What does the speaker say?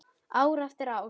Ár eftir ár.